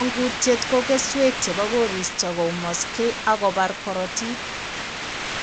Mangutiet ko keswek chebo koristo koumaksei ak kobar korotik